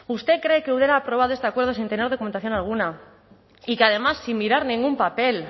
usted cree que eudel ha aprobado este acuerdo sin tener documentación alguna y que además sin mirar ningún papel